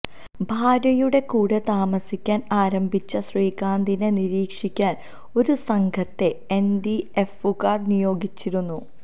ഭാര്യയുടെ കൂടെ താമസിക്കാൻ ആരംഭിച്ച ശ്രീകാന്തിനെ നിരീക്ഷിക്കാൻ ഒരു സംഘത്തെ എൻഡിഎഫുകാർ നിയോഗിച്ചിരുന്നു